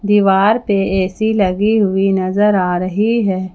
दीवार पे ए_सी लगी हुई नजर आ रही है।